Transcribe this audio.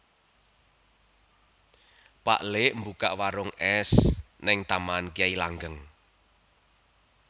Pak lik mbukak warung es ning Taman Kyai Langgeng